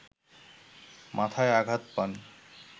মাথায় আঘাত পান